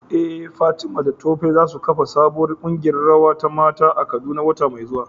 Eh Fatima da Tope za su kafa sabuwar kungiyar rawa ta mata a Kaduna wata mai zuwa.